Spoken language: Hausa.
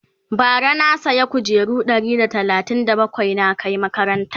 bara na saya kujeru Ɗari da talatin da bakwai na Kai makarantan